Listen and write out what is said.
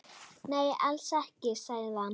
Nei, alls ekki, sagði hann.